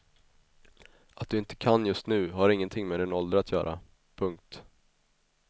Att du inte kan just nu har ingenting med din ålder att göra. punkt